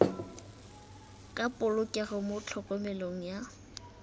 ka polokego mo tlhokomelong ya